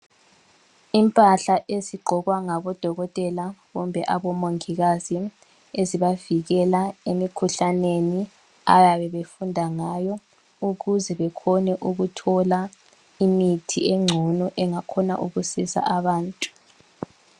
Impahla ezigqokwa ngodokotela kumbe omongikazi, ezibavikela emikhuhlaneni abayabe befunda ngayo ukuze bakhone ukuthola imithi engcono engakhona ukusiza abantu.